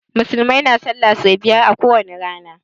Musulmai na sallah so biyar ko wani rana.